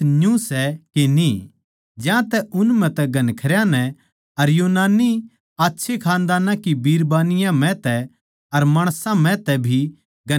ज्यांतै उन म्ह तै घणखरयां नै अर यूनानी आच्छे खानदान की बिरबानियाँ म्ह तै अर माणसां म्ह तै भी घणखरयां नै बिश्वास करया